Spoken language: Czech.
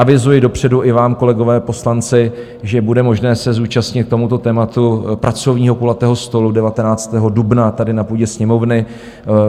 Avizuji dopředu i vám, kolegové poslanci, že bude možné se zúčastnit k tomuto tématu pracovního kulatého stolu 19. dubna tady na půdě Sněmovny.